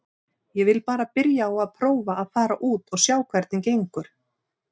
Ég vil bara byrja á að prófa að fara út og sjá hvernig gengur.